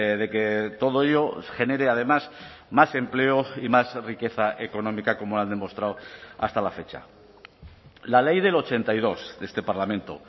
de que todo ello genere además más empleo y más riqueza económica como ha demostrado hasta la fecha la ley del ochenta y dos de este parlamento